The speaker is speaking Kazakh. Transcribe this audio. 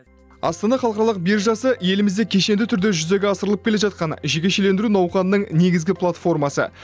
астана халықаралық биржасы елімізде кешенді түрде жүзеге асырылып келе жатқан жекешелендіру науқанының негізгі платформасы